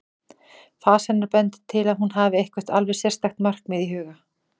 Fas hennar bendir til að hún hafi eitthvert alveg sérstakt markmið í huga.